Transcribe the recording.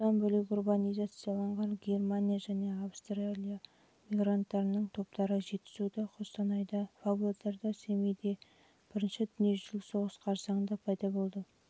бұдан бөлек урбанизацияланған германия және австрия мигранттарының топтары жетісуда қостанайда павлодарда семейде және бірінші дүниежүзілік соғыс қарсаңында